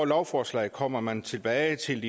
lovforslag kommer man tilbage til